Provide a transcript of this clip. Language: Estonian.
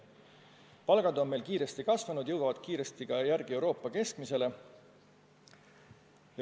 Palgad on meil hoogsalt kasvanud, need jõuavad kiiresti järele Euroopa keskmisele.